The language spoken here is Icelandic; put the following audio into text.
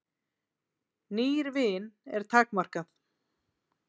Nýr vin er takmarkað.